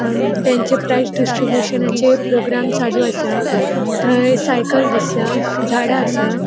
अ तांचे प्राइज़ डिस्ट्रब्यूशनाचे प्रोग्राम चालू असा थय साइकल दिसता. झाडा असा.